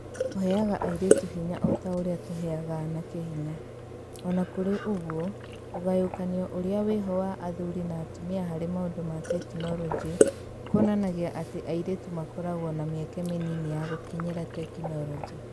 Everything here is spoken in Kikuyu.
Kũheaga airĩtu hinya o ta ũrĩa tũheaga anake hinya. O na kũrĩ ũguo, ũgayũkanio ũrĩa wĩho wa athũri na atũmia harĩ maũndũ ma tekinoronjĩ kuonanagia atĩ airĩtu makoragwo na mĩeke mĩnini ya gũkinyĩra tekiroji.